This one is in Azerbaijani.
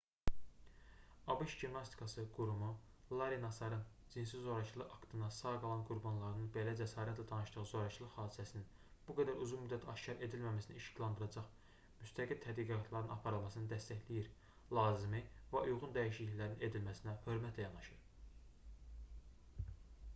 abş gimnastikası qurumu larri nasarın cinsi zorakılıq aktından sağ qalan qurbanlarının belə cəsarətlə danışdığı zorakılıq hadisəsinin bu qədər uzun müddət aşkar edilməməsini işıqlandıracaq müstəqil tədqiqatların aparılmasını dəstəkləyir lazımı və uyğun dəyişikliklərin edilməsinə hörmətlə yanaşır